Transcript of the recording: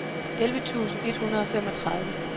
elleve tusind et hundrede og femogtredive